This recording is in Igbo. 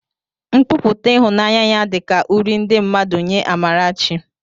Nkwupụta ịhụnanya ya dị ka uri ndị mmadụ nye Amarachi